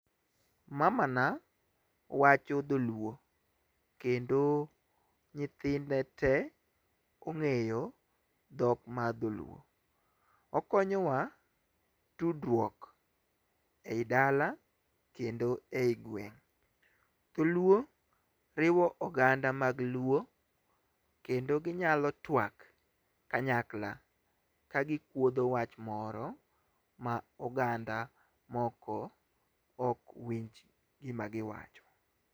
Mamana wacho dholuo kendo nyithinde te ong'eyo dhok mar dholuo. Okonyowa tudruok e dala kata e gweng' . Dholuo riwo oganda mag luo kendo ginyalo twak kanyakla ka gikuodho wach moro ma oganda moko ok winj gima giwacho.